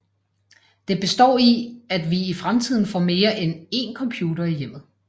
Det består i at vi i fremtiden får mere end én computer i hjemmet